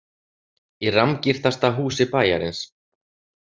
Í rammgirtasta húsi bæjarins?